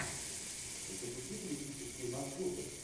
запусти туристические маршруты